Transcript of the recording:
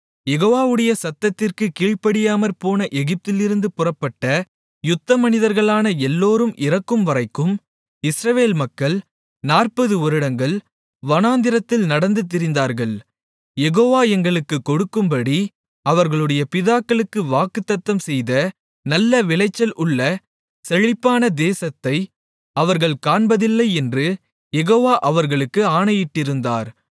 யெகோவாவுடைய சத்தத்திற்குக் கீழ்ப்படியாமற்போன எகிப்திலிருந்து புறப்பட்ட யுத்த மனிதர்களான எல்லோரும் இறக்கும்வரைக்கும் இஸ்ரவேல் மக்கள் 40 வருடங்கள் வனாந்திரத்தில் நடந்து திரிந்தார்கள் யெகோவா எங்களுக்குக் கொடுக்கும்படி அவர்களுடைய பிதாக்களுக்கு வாக்குத்தத்தம் செய்த நல்ல விளைச்சல் உள்ள செழிப்பான தேசத்தை அவர்கள் காண்பதில்லை என்று யெகோவா அவர்களுக்கு ஆணையிட்டிருந்தார்